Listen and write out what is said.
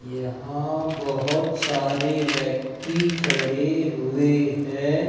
यहां बहुत सारे व्यक्ति खड़े हुए हैं।